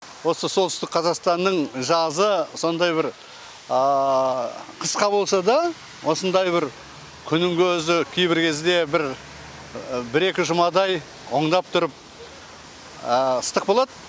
осы солтүстік қазақстанның жазы сондай бір қысқа болса да осындай бір күннің көзі кейбір кезде бір екі жұмадай оңдап тұрып ыстық болады